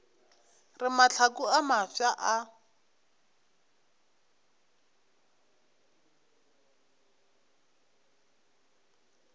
re mahlaku a mafsa a